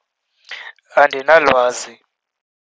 Andinalwazi.